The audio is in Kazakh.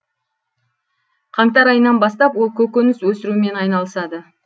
қаңтар айынан бастап ол көкөніс өсірумен айналысады